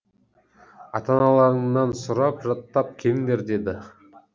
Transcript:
ата аналарыңнан сұрап жаттап келіңдер деді